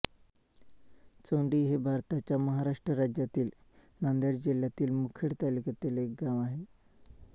चोंडी हे भारताच्या महाराष्ट्र राज्यातील नांदेड जिल्ह्यातील मुखेड तालुक्यातील एक गाव आहे